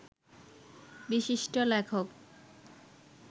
বিশিষ্ট লেখক